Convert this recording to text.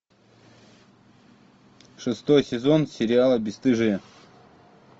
шестой сезон сериала бесстыжие